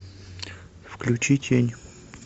включи тень